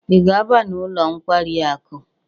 Ị ga-aba n'ụlọ nkwari akụ?